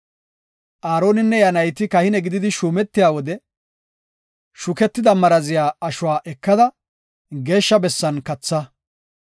“Aaroninne iya nayti kahine gididi shuumetiya wode shuketida maraziya ashuwa ekada, geeshsha bessan katha.